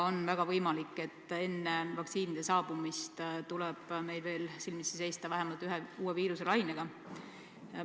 On väga võimalik, et enne vaktsiinide saabumist tuleb meil veel silmitsi seista vähemalt ühe uue viiruselainega.